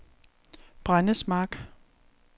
Brændesmark